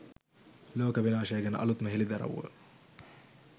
ලෝක විනාශය ගැන අලුත්ම හෙළිදරව්ව